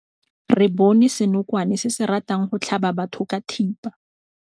Re bone senokwane se se ratang go tlhaba batho ka thipa.